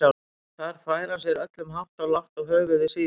Þar þvær hann sér öllum hátt og lágt og höfuðið síðast.